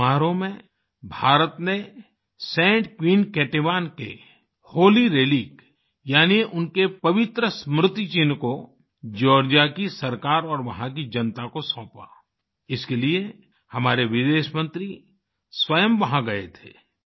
इस समारोह में भारत ने Saint Queen Ketevan Saint Queen Ketevan holy relic holy relic रेलिक यानि उनके पवित्र स्मृति चिन्ह जॉर्जिया की सरकार और वहाँ की जनता को सौंपा इसके लिए हमारे विदेश मंत्री स्वयं वहाँ गए थे